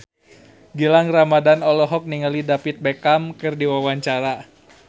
Gilang Ramadan olohok ningali David Beckham keur diwawancara